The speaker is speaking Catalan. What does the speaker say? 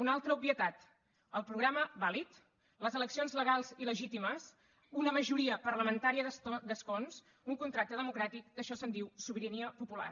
una altra obvietat el programa vàlid les eleccions legals i legítimes una majoria parlamentària d’escons un contracte democràtic d’això se’n diu sobirania popular